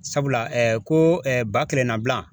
Sabula ɛ ko ɛ ba kelen na bilan.